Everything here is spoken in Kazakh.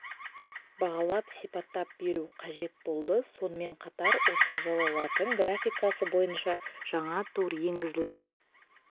бағалап сипаттап беру қажет болды сонымен қатар осы жылы латын графикасы бойынша жаңа тур енгізілді